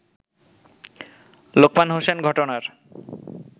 লোকমান হোসেন ঘটনার